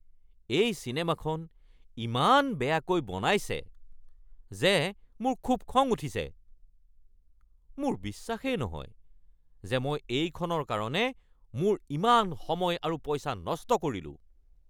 এই চিনেমাখন ইমান বেয়াকৈ বনাইছে যে মোৰ খুব খং উঠিছে। মোৰ বিশ্বাসেই নহয় যে মই এইখনৰ কাৰণে মোৰ ইমান সময় আৰু পইচা নষ্ট কৰিলো।